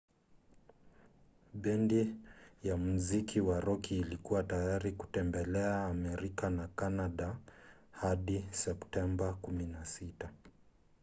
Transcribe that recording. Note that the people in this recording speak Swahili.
bendi ya muziki wa roki ilikuwa tayari kutembelea amerika na canada hadi septemba 16